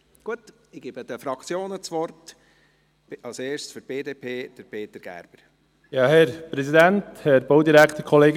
Ich gebe den Fraktionen das Wort, zuerst Peter Gerber für die BDP.